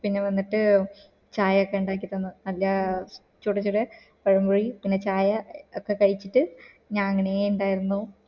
പിന്നെ വന്നിട്ട് ചായ ഒക്ക ഇണ്ടാക്കി തന്നു നല്ല ചൂട് ചൂട് പഴം പൊരി ചായ ഒക്കെ കഴിച്ചിട്ട് ഞങ്ങ അങ്ങനെ ഇണ്ടായിരുന്നു